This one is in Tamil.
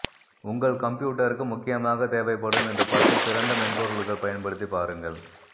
உங்கள் கம்ப்யூட்டருக்கு முக்கியமாக தேவைப்படும் இந்த பத்து சிறந்த மென்பொருள்கள் பயன்படுத்தி பாருங்கள்